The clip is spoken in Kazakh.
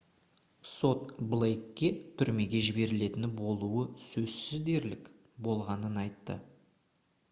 сот блейкке түрмеге жіберілетіні «болуы сөзсіз дерлік» болғанын айтты